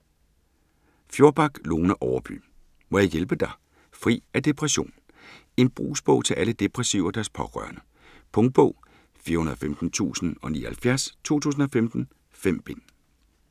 Fjorback, Lone Overby: Må jeg hjælpe dig?: fri af depression En brugsbog til alle depressive og deres pårørende. Punktbog 415079 2015. 5 bind.